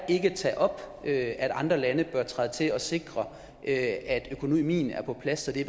ikke tager op at andre lande bør træde til og sikre at økonomien er på plads så det